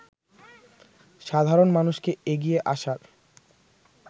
সাধারণ মানুষকে এগিয়ে আসার